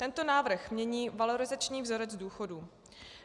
Tento návrh mění valorizační vzorec důchodu.